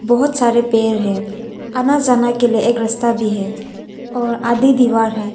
बहुत सारे पेड़ है आना जाना के लिए एक रास्ता भी है और आधी दीवार है।